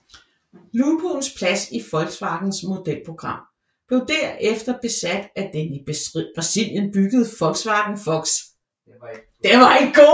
Lupoens plads i Volkswagens modelprogram blev derefter besat af den i Brasilien byggede Volkswagen Fox